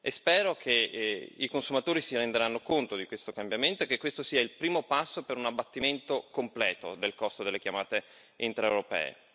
Spero che i consumatori si renderanno conto di questo cambiamento e che questo sia il primo passo per un abbattimento completo del costo delle chiamate intraeuropee.